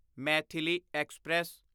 Maithili express